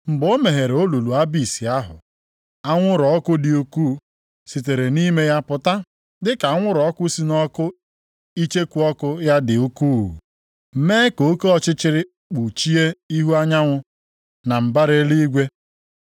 Mgbe o meghere olulu Abis ahụ, anwụrụ ọkụ dị ukwu sitere nʼime ya pụta dịka anwụrụ ọkụ si nʼọkụ icheku ọkụ ya dị ukwuu, mee ka oke ọchịchịrị kpuchie ihu anyanwụ na mbara eluigwe.